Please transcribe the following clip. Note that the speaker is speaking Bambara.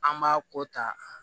An b'a ko ta